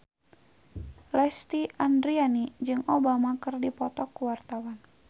Lesti Andryani jeung Obama keur dipoto ku wartawan